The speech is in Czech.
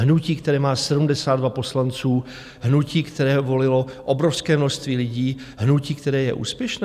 Hnutí, které má 72 poslanců, hnutí, které volilo obrovské množství lidí, hnutí, které je úspěšné?